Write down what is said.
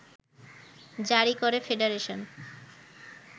জারী করে ফেডারেশন